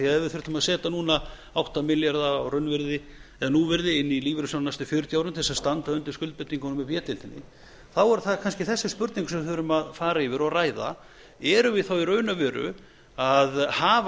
við þurftum að setja núna átta milljarða á raunvirði eða núvirði inn í lífeyrissjóðina næstu fjörutíu árin til þess að standa undir skuldbindingum úr b deildinni þá er það kannski þessi spurning sem við þurfum að fara yfir og ræða erum við þá í raun og veru að hafa